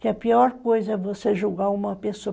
que a pior coisa é você julgar uma pessoa.